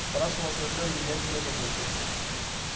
спрашивал смотрел ли ли я кино какое-то